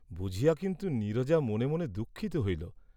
বুঝিয়া কিন্তু নীরজা মনে মনে দুঃখিত হইল।